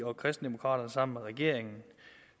og kristendemokraterne sammen med regeringen